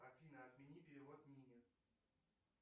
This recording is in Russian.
афина отмени перевод нине